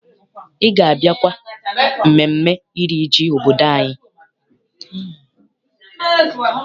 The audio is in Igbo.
Ị ga- abịakwa mmemme iri ji obodo anyị?